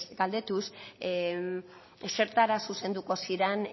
galdetuz zertara zuzenduko ziren